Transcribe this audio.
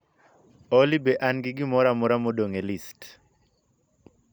Olly be an gi gimoro amora modong' e list